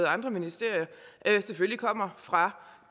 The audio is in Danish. andre ministerier kommer fra